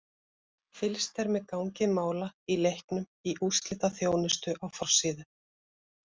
Fylgst er með gangi mála í leiknum í úrslitaþjónustu á forsíðu.